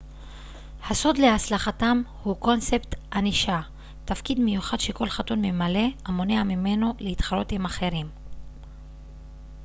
הסוד להצלחתם הוא קונספט הנישה תפקיד מיוחד שכל חתול ממלא המונע ממנו להתחרות עם אחרים